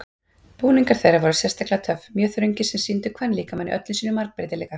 Búningar þeirra voru sérstaklega töff, mjög þröngir sem sýndu kvenlíkamann í öllum sínum margbreytileika.